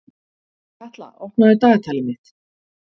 Katla, opnaðu dagatalið mitt.